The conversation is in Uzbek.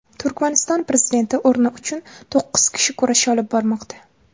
Turkmaniston prezidenti o‘rni uchun to‘qqiz kishi kurash olib bormoqda.